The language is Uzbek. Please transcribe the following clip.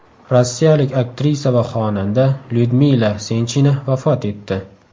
Rossiyalik aktrisa va xonanda Lyudmila Senchina vafot etdi.